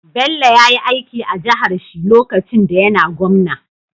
Bello yayi aiki a jahar shi lokacin da yAna gwamna